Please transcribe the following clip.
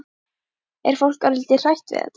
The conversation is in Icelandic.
Er fólk örlítið hrætt við þetta?